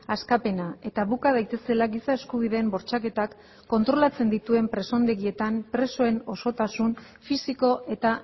askapena eta buka daitezela giza eskubideen bortxaketak kontrolatzen dituen presondegietan presoen osotasun fisiko eta